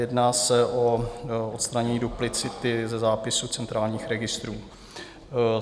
Jedná se o odstranění duplicity ze zápisu centrálních registrů.